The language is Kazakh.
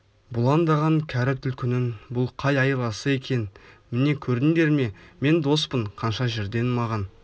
бұлаңдаған кәрі түлкінің бұл қай айласы екен міне көрдіңдер ме мен доспын қанша жерден маған